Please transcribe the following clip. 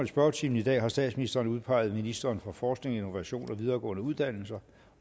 i spørgetimen i dag har statsministeren udpeget ministeren for forskning innovation og videregående uddannelser